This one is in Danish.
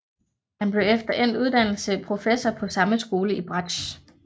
Han blev efter endt uddannelse professor på samme skole i bratsch